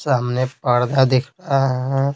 सामने पर्दा दिख रहा है।